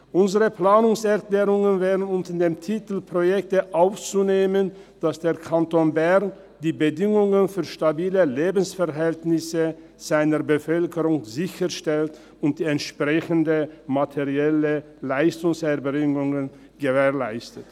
Unsere Planungserklärungen wollen unter dem Titel «Projekte» aufnehmen, dass der Kanton Bern stabile Lebensverhältnisse für seine Bevölkerung sicherstellt und die entsprechenden materiellen Leistungserbringungen gewährleistet.